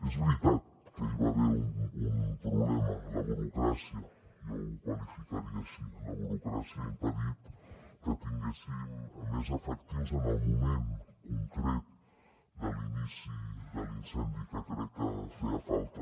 és veritat que hi va haver un problema la burocràcia jo ho qualificaria així la burocràcia ha impedit que tinguéssim més efectius en el moment concret de l’inici de l’incendi que crec que feia falta